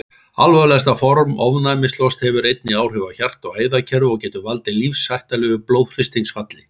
Alvarlegasta form ofnæmislosts hefur einnig áhrif á hjarta- og æðakerfi og getur valdið lífshættulegu blóðþrýstingsfalli.